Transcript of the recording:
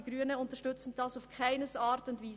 Die Grünen unterstützen dies auf keine Art und Weise.